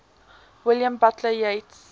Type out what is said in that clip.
william butler yeats